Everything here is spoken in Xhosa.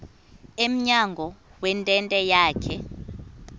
emnyango wentente yakhe